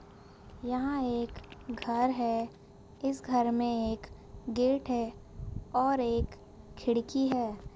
यहाँ एक घर है इस घर में एक गेट है और एक खिड़की है।